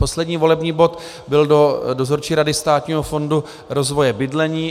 Poslední volební bod byl do Dozorčí rady Státního fondu rozvoje bydlení.